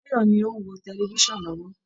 Báyọ̀ọ̀ ni ó ń wo tẹlifisan lọ́wọ́